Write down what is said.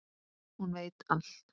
Hún veit allt.